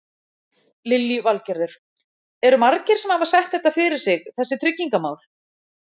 Lillý Valgerður: Eru margir sem hafa sett þetta fyrir sig þessi tryggingamál?